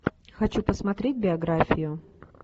хочу посмотреть биографию